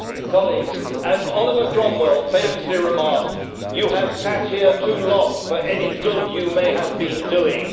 Colleagues, as Oliver Cromwell famously remarked, You have sat here too long for any good you may have been doing.